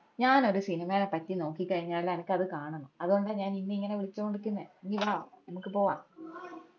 ഞാനൊരി സിനിമേന പറ്റി നോക്കി കയിഞ്ഞ അനക്ക് അത് കാണണം അതോണ്ടാ ഞാൻ ഇഞ ഇങ്ങന വിളിച്ചോണ്ട് നിക്കുന്നെ ഇഞ് വാ ഞമ്മക്ക് പോവ്വാ